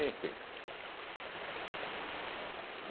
Enfim.